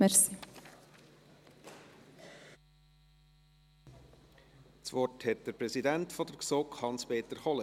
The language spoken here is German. Das Wort hat der Präsident der GSoK, Hans-Peter Kohler.